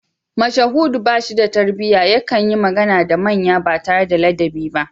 Mashahudu ba shi da tarbiyya yakan yi magana da manya ba tare da ladabi ba